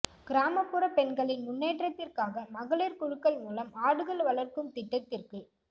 கிராமப்புற பெண்களின் முன்னேற்றத்திற்காக மகளிா் குழுக்கள் மூலம் ஆடுகள் வளா்க்கும் திட்டத்திற்கு